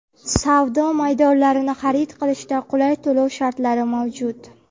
Savdo maydonlarini xarid qilishda qulay to‘lov shartlari mavjud.